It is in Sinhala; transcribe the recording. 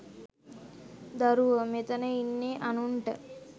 දරුව.මෙතන ඉන්නෙ අනුන්ට